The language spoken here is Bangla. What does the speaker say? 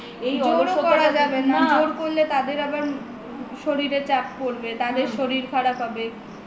জোরও করা যাবে না জোর করলে তাদের আবার শরীরে চাপ পরবে তাদের শরীর খারাপ হবে